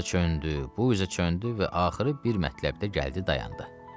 O isə çöndü, bu üzə çöndü və axırı bir mətləbdə gəldi dayandı.